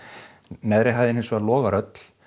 neðri hæðin hins vegar logar öll